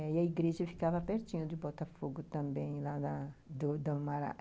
E a igreja ficava pertinho de Botafogo também lá na